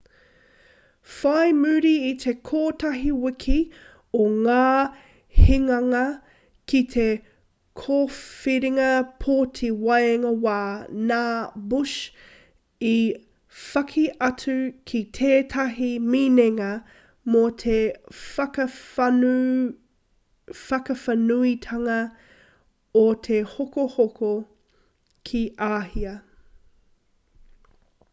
whai muri i te kotahi wiki o ngā hinganga ki te kōwhiringa pōti waenga wā nā bush i whaki atu ki tētahi minenga mō te whakawhānuitanga o te hokohoko ki āhia